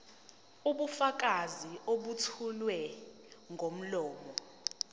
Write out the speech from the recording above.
ubufakazi obethulwa ngomlomo